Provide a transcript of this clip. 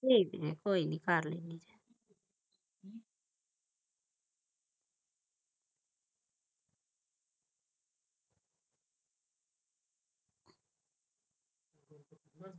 ਨਹੀਂ ਤੇ ਕੋਈ ਨੇ ਕਰ ਲੈਣੀ ਆ